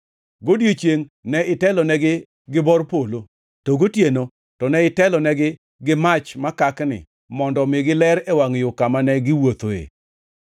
Godiechiengʼ ne itelonegi gi bor polo, to gotieno to ne itelonegi gi mach makakni mondo omigi ler e wangʼ yo kama ne giwuothoe.